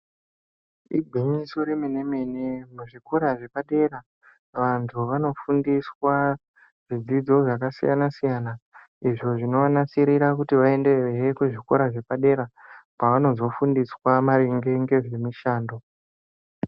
Igwinyiso remenemene muzvikora zvepadera vantu vanofundiswa zvidzidzo zvakasiyana siyana izvo zvinovanasirira kuti vaendezve muzvikora zvepadera pavanozofundiswa maringe nezve mishando